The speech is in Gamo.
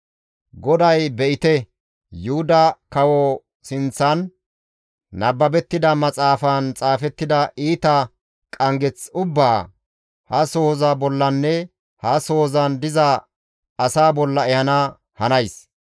GODAY ‹Be7ite, Yuhuda kawo sinththan nababettida maxaafaan xaafettida iita qanggeth ubbaa, ha sohoza bollanne ha sohozan diza asaa bolla ehana hanays.